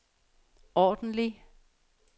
ordentlig